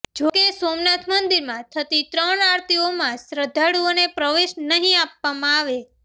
જોકે સોમનાથ મંદિરમાં થતી ત્રણ આરતીઓમાં શ્રદ્ધાળુઓને પ્રવેશ નહીં આપવામાં આવે